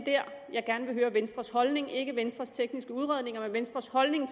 jeg gerne vil høre venstres holdning til ikke venstres tekniske udredninger men venstres holdning